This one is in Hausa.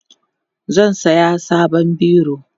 zan saya sabon biro